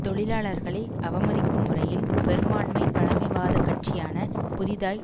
தொழிலாளர்களை அவமதிக்கும் முறையில் பெரும்பான்மை பழமைவாத கட்சியான புதிதாய்